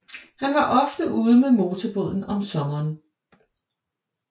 Han var ofte ude med motorbåden om sommeren